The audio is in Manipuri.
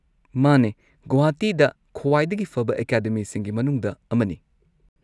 ꯃꯥꯅꯦ, ꯒꯨꯋꯥꯍꯥꯇꯤꯗ ꯈ꯭ꯋꯥꯏꯗꯒꯤ ꯐꯕ ꯑꯦꯀꯥꯗꯃꯤꯁꯤꯡꯒꯤ ꯃꯅꯨꯡꯗ ꯑꯃꯅꯤ꯫